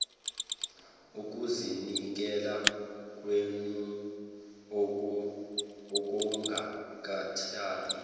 ukuzinikela kwenu okungakhathali